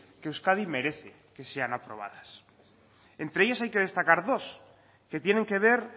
que euskadi merece que sean aprobadas entre ellas hay que destacar dos que tienen que ver